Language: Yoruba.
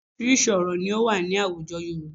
Oríṣiríṣi orò ni ó wà ní àwùjọ Yorùbá